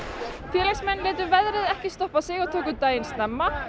félagsmenn létu veðrið ekki stoppa sig og tóku daginn snemma